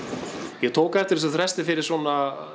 ég tók eftir þessum fyrir svona